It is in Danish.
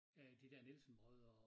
Øh de dér Nielsen-brødre og